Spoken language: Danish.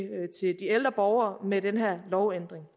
de ældre borgere med den her lovændring